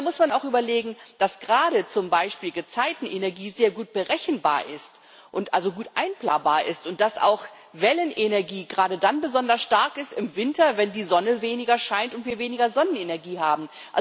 Da muss man auch überlegen, dass gerade zum Beispiel Gezeitenenergie sehr gut berechenbar, also gut einplanbar ist, dass auch Wellenenergie gerade dann im Winter besonders stark ist, wenn die Sonne weniger scheint und wir weniger Sonnenenergie haben.